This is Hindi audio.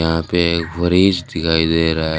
यहां पर एक फ्रिज दिखाई दे रहा है।